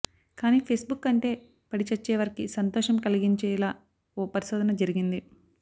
కానీ ఫేస్బుక్ అంటే పడిచచ్చేవారికి సంతోషం కలిగించేలా ఓ పరిశోధన జరిగింది